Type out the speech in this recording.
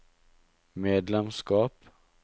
medlemskap